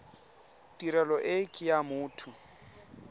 tirelo e ke ya motho